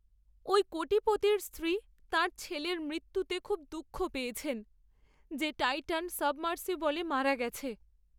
ওই কোটিপতির স্ত্রী তাঁর ছেলের মৃত্যুতে খুব দুঃখ পেয়েছেন, যে টাইটান সাবমার্সিবলে মারা গেছে।